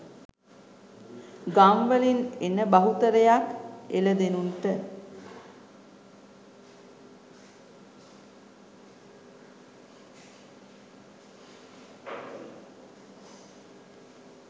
ගම් වලින් එන බහුතරයක් එළදෙනුන්ට